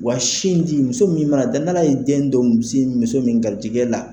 Wa sin di, muso min mana da, n'Ala ye den dɔ muso min garijigɛ la